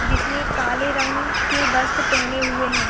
जिसने काले रंग के वस्त्र पहने हुए है।